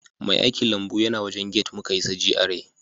Mai aikilambu yana wajen gate muka isa GRA